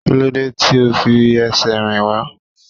Kílódé tí ó fi ẹsẹ̀ rìn wá?